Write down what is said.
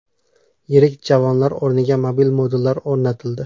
Yirik javonlar o‘rniga mobil modullar o‘rnatildi.